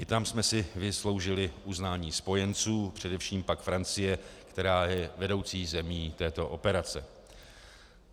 I tam jsme si vysloužili uznání spojenců, především pak Francie, která je vedoucí zemí této operace.